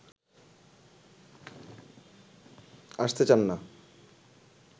আসতে চান না